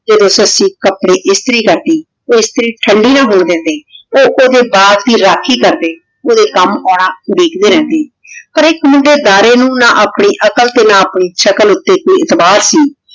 ਜੇਰੇ ਸੱਸੀ ਕਪਰੇ ਇਸਤਰੀ ਕਰਦੀ ਊ ਇਸਤਰੀ ਠੰਡੀ ਨਾ ਹੋਣ ਦੇਂਦੀ ਊ ਤੇ ਓਦੇ ਬਾਘ ਦੀ ਰਾਖੀ ਕਰਦੇ ਓਹਦੇ ਕਾਮ ਆਉਂਦਾ ਉਦੀਕ੍ਡੀ ਰੇਹ੍ਨ੍ਡੇ ਹਰ ਏਇਕ ਮੁੰਡੇ ਡਰੇ ਨੂ ਨਾ ਆਪਣੀ ਅਕ਼ਾਲ ਤੇ ਨਾ ਆਪਣੀ ਸ਼ਕਲ ਊਟੀ ਐਤਬਾਰ ਸੀ